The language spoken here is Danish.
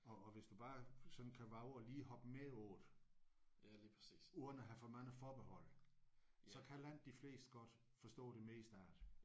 Og og hvis du bare sådan kan vove at lige hoppe med på det uden at have for mange forbehold så kan langt de fleste godt forstå det meste af det